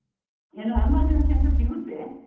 ಏನೋ emergency ಅಂತ ಸಿಗುತ್ತೆ.